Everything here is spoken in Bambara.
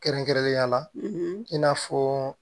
Kɛrɛnkɛrɛnnenya la i n'a fɔ